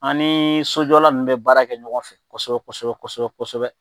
An ni sojɔla nu be baara kɛ ɲɔgɔn fɛ kosɛbɛ kosɛbɛ kosɛbɛ